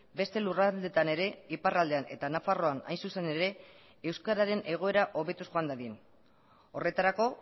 beste lurraldeetan ere iparraldean eta nafarroan hain zuzen ere euskararen egoera hobetuz joan dadin horretarako